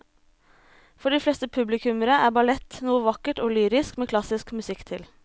For de fleste publikummere er ballett noe vakkert og lyrisk med klassisk musikk til.